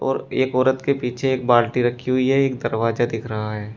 और एक औरत के पीछे एक बाल्टी रखी हुई है एक दरवाजा दिख रहा है।